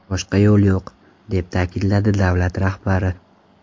Boshqa yo‘l yo‘q, – deb ta’kidladi davlat rahbari.